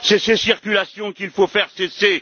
Ce sont ces circulations qu'il faut faire cesser.